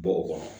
Bɔ o kɔnɔ